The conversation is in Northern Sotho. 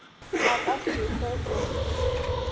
a ka se hwe o